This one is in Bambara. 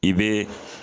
I bɛ